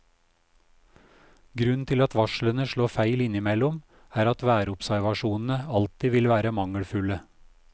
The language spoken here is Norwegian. Grunnen til at varslene slår feil innimellom, er at værobservasjonene alltid vil være mangelfulle.